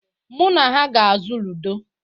Mụ na ha ga-azụ ludo.